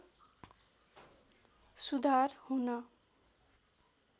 सुधार हुन